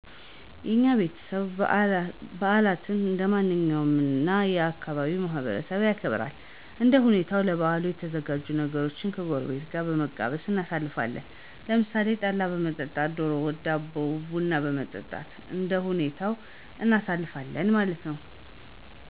የኛ ቤተሰብ በዓላትን እንደማንኛውም የ ካባቢው ማህበረሰብ ያከብራል። እንደ ሁኔታዉ ለበዓሉ የተዘጋጁ ነገሮችን ከጎረቤት ጋር በመቀማመስ እናሣልፋለን። ለምሣሌ ጠላ በመጠጣት፣ ደሮ ወጥ፣ ዳቦ፣ ቡና በመጠጣት እንደሁኔታው እናሳልፋለን ማለት ነዉ።